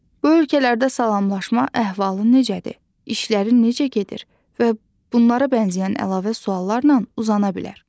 Bu ölkələrdə salamlaşma əhvalın necədir, işlərin necə gedir və bunlara bənzəyən əlavə suallarla uzana bilər.